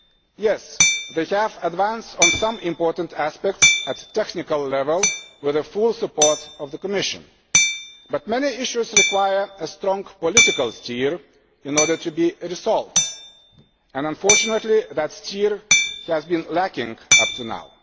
Yes, they have advanced on some important aspects at technical level, with the full support of the Commission, but many issues require strong political steering in order to be resolved. Unfortunately that steering has been lacking up to